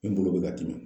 N bolo bɛ ka dimi